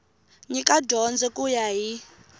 nyika dyondzo ku ya hi